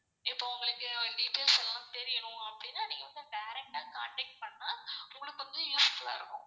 இப்போ உங்களுக்கு details எல்லாம் தெரியணும் அப்படினா direct ஆ contact பண்ணா உங்களுக்கு வந்து useful ஆ இருக்கும்.